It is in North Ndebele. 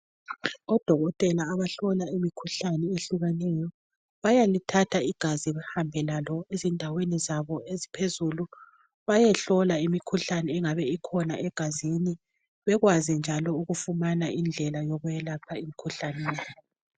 Odokotela abahlola imikhuhlane ehlukeneyo bayalithatha igazi bahambe lalo ezindaweni zabo eziphezulu bayehlola imikhuhlane engabe ikhona egazini bekwazi njalo ukufumana indlela yokwelapha imikhuhlane le.